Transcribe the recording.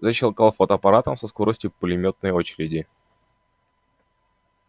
защёлкал фотоаппаратом со скоростью пулемётной очереди